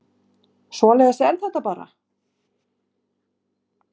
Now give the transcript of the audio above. Svoleiðis er þetta bara